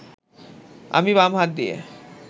আমি বাম হাত দিয়ে